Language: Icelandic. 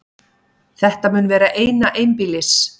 Þetta mun vera eina einbýlis